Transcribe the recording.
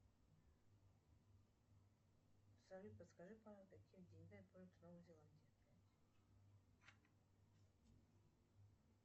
салют подскажи пожалуйста какими деньгами пользуются в новой зеландии